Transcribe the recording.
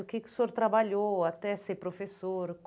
O que que o senhor trabalhou até ser professor?